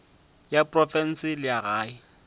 ya profense le ya gae